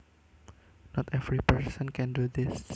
Not every person can do this